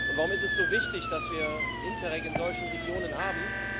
Warum ist es so wichtig, dass wir Interreg in solchen Regionen haben?